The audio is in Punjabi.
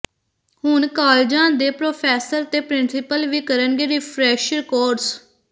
ਹੁਣ ਕਾਲਜ਼ਾਂ ਦੇ ਪ੍ਰੋਫ਼ੈਸਰ ਤੇ ਪ੍ਰਿੰਸੀਪਲ ਵੀ ਕਰਨਗੇ ਰਿਫਰੈਸ਼ਰ ਕੋਰਸ